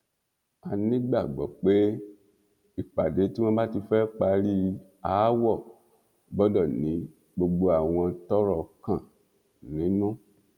a nígbàgbọ pé ìpàdé tí wọn bá ti fẹẹ parí aáwọ gbọdọ ní gbogbo àwọn tọrọ kàn nínú